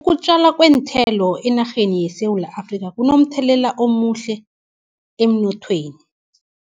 Ukutjalwa kweenthelo, enarheni yeSewula Afrika kunomthelela omuhle emnothweni.